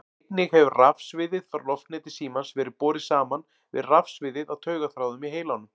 Einnig hefur rafsviðið frá loftneti símans verið borið saman við rafsviðið á taugaþráðum í heilanum.